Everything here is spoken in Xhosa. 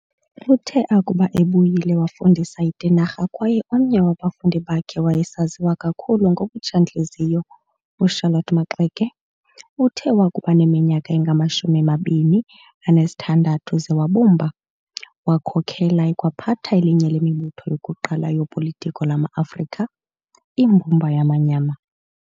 Uthe akuba ebuyile wafudisa eTinarha kwaye omnye wabafundi bakhe wayesaziwa kakhulu ngobutsha-ntliziyo u"Charlotte Maxeke". Uthe wakuba neminyaka engama-26 ze wabumba, wakhokela ekwaphatha elinye lemibutho yokuqala yopolitiko lama-Afrika, Imbumba Yamanyama.